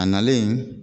A nalen